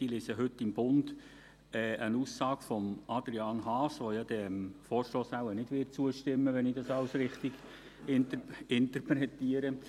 Ich lese heute im «Bund» eine Aussage von Adrian Haas, der diesem Vorstoss wohl nicht zustimmen wird, wenn ich alles richtig interpretiere.